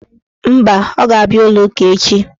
Mba, ọ ga-abịa ụlọụka echi.